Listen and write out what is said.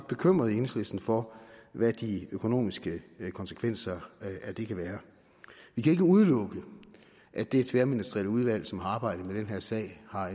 bekymrede i enhedslisten for hvad de økonomiske konsekvenser af det kan være vi kan ikke udelukke at det tværministerielle udvalg som har arbejdet med den her sag har